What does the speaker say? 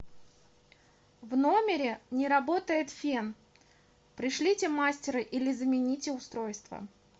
в номере не работает фен пришлите мастера или замените устройство